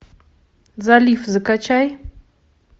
залив закачай